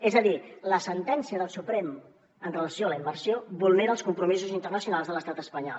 és a dir la sentència del suprem amb relació a la immersió vulnera els compromisos internacionals de l’estat espanyol